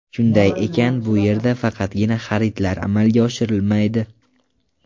Shunday ekan bu yerda faqatgina xaridlar amalga oshirilmaydi!